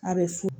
A bɛ fu